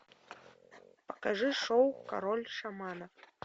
покажи шоу король шаманов